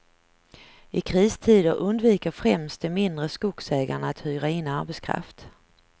I kristider undviker främst de mindre skogsägarna att hyra in arbetskraft.